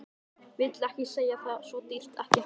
Vill ekki segja það, svo dýrt, ekki hægt.